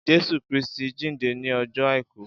Jésù Krìstí jindé ni ọjọ áikù